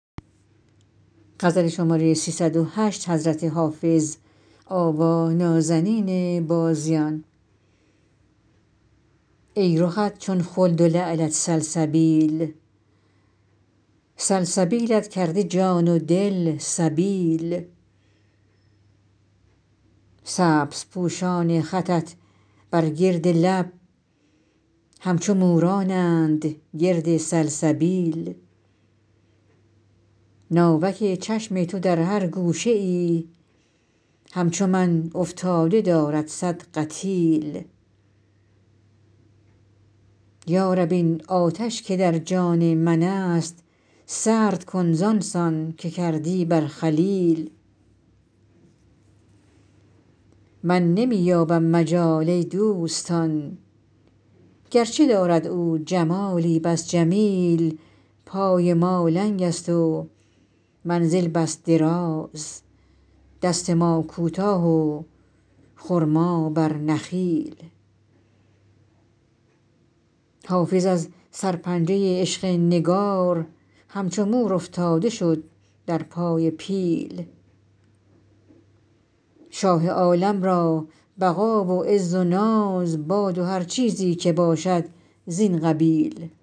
ای رخت چون خلد و لعلت سلسبیل سلسبیلت کرده جان و دل سبیل سبزپوشان خطت بر گرد لب همچو مورانند گرد سلسبیل ناوک چشم تو در هر گوشه ای همچو من افتاده دارد صد قتیل یا رب این آتش که در جان من است سرد کن زان سان که کردی بر خلیل من نمی یابم مجال ای دوستان گرچه دارد او جمالی بس جمیل پای ما لنگ است و منزل بس دراز دست ما کوتاه و خرما بر نخیل حافظ از سرپنجه عشق نگار همچو مور افتاده شد در پای پیل شاه عالم را بقا و عز و ناز باد و هر چیزی که باشد زین قبیل